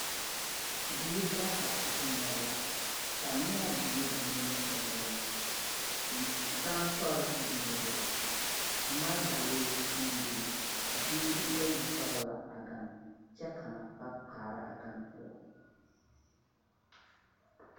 Bibiiri bata Zeŋɛɛ la kaneaa biŋee ba nimitɔɔreŋ gansɔre biŋee la magedalee meŋ biŋee la a biiri bayi sɔrɔ la a gane kyɛ ka a kaŋ ba kaara a gane poɔ.